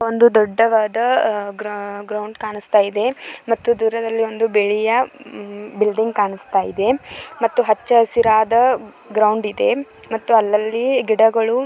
ಒಂದು ದೊಡ್ಡವಾದ ಗ್ರೌಂಡ್ ಕಾಣಸ್ತಿದೆ ಮತ್ತು ದೂರದಲಿ ಒಂದು ಬಿಳಿಯ ಬಿಲ್ಡಿಂಗ್ ಕಾಣಸ್ತಿದೆ ಮತ್ತು ಹಚ್ಚ ಹಸಿರಾದ ಗ್ರೌಂಡ್ ಇದೆ ಮತ್ತು ಅಲ್ಲಲ್ಲಿ ಗಿಡಗಳು--